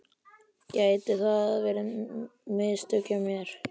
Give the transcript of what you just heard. Gæti það verið mistök hjá mér?